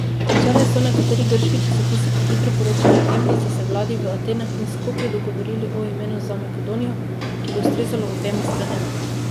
Včeraj so nekateri grški časopisi prehitro poročali o tem, da sta se vladi v Atenah in Skopju dogovorili o imenu za Makedonijo, ki bi ustrezalo obema stranema.